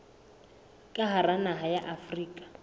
ka hara naha ya afrika